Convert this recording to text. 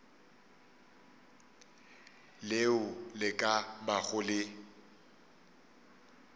leo le ka bago le